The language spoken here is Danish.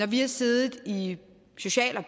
vi har siddet i